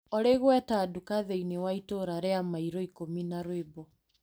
Olĩ gweta nduka thĩiniĩ wa itũra rĩa mairo ikũmi na rwĩmbo .